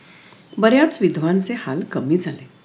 बऱ्याच विधवांचे हाल कमी झाले